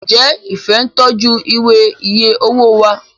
njé Ifẹ ń tọjú Ìwé iye owó wá?